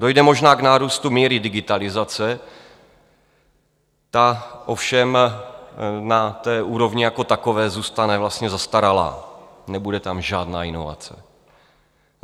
Dojde možná k nárůstu míry digitalizace, ta ovšem na té úrovni jako takové zůstane vlastně zastaralá, nebude tam žádná inovace.